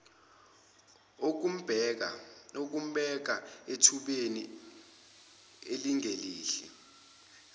okumbeka ethubeni elingelihle